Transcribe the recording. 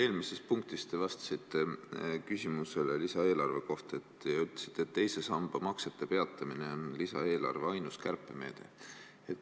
Eelmises punktis te vastasite küsimusele lisaeelarve kohta ja ütlesite, et teise samba maksete peatamine on lisaeelarve ainus kärpemeede.